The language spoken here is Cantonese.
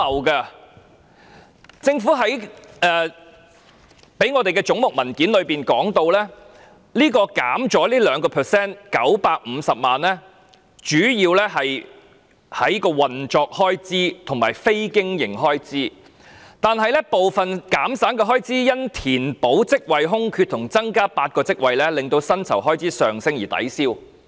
據政府發給我們有關總目的文件指出，預算減少了 2%， 主要運作開支減省，但部分減省的開支因非經營開支上升，以及因填補職位空缺及增加8個職位令薪酬開支上升而抵銷。